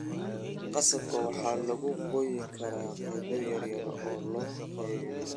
Qasabka waxaa lagu gooyi karaa qaybo yar yar oo la qalajiyaa.